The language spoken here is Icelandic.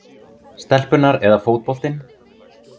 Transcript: stelpurnar eða fótboltinn?